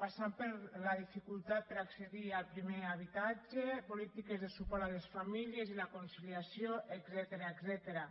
passant per la dificultat per accedir al primer habitatge polítiques de suport a les famílies i la conciliació etcètera